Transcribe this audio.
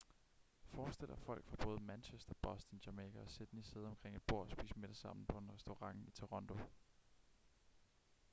forestil dig folk fra både manchester boston jamaica og sydney sidde omkring et bord og spise middag sammen på en restaurant i toronto